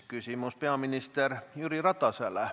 Küsimus peaminister Jüri Ratasele.